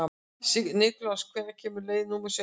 Sigurlás, hvenær kemur leið númer sautján?